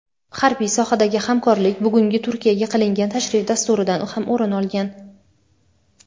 harbiy sohadagi hamkorlik bugungi Turkiyaga qilingan tashrif dasturidan ham o‘rin olgan.